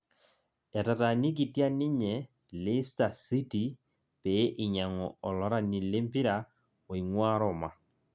etaatanikitia ninye lista city pee inyang'u olrani lempira oing'uaa Roma